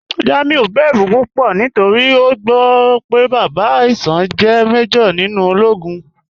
Jamiu bẹ̀rù púpọ̀ nítorí o gbọ́ pé bàbá Aisha jẹ́ màjọ̀r nínú òlógún.